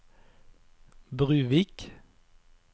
Bruvik